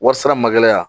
Warsa magɛlɛya